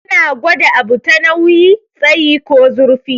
Ana gwada abu ta nauyi, tsayi ko zurfi.